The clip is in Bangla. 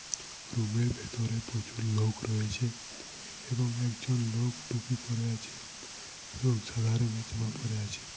রুম -এর ভিতরে প্রচুর লোক রয়েছে এবং একজন লোক টুপি পরে আছে এবং সাদা রঙের জামা পড়ে আছে।